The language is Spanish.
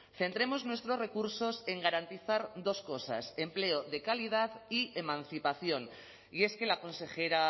centremos nuestros recursos en garantizar dos cosas empleo de calidad y emancipación y es que la consejera